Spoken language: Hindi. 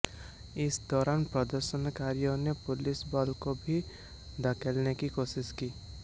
इस दौरान प्रदर्शनकारियों ने पुलिस बल को भी धकेलने की कोशिश की